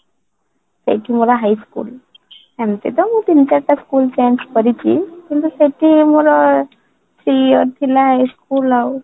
ସେଇଠି ମୋର high school ସେମିତି ତ ମୁଁ ତିନି ଚାରି ଟା ସ୍କୁଲ change କରିଛି କିନ୍ତୁ ସେଠି ମୋର ପ୍ରିୟ ଥିଲା school